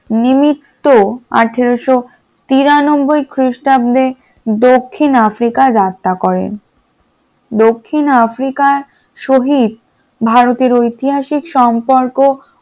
নিমিত্ত আঠারশ তিরানব্বই খ্রিস্টাব্দে দক্ষিণ আফ্রিকায় রাস্তা করেন দক্ষিণ আফ্রিকা শহীদ ভারতের ঐতিহাসিক সম্পর্ক